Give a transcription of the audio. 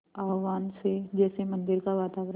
आह्वान से जैसे मंदिर का वातावरण